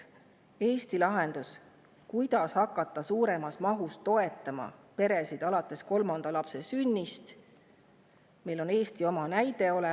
Meil on oma näide olemas: perede suuremas mahus toetamine alates kolmanda lapse sünnist tõstis.